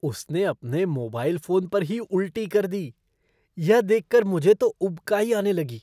उसने अपने mobile phone पर ही उल्टी कर दी। यह देख कर मुझे तो उबकाई आने लगी।